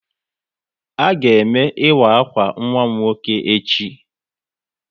A ga eme ịwa akwa nwa m nwoke echi